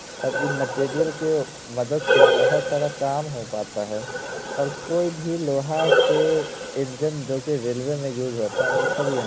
और ये मटिरियल के मदद से बहुत सारा काम हो पता है। और कोई भी लोहा के इन्जेंन जो की रेलवे में यूज होता है वो सब यहाँ --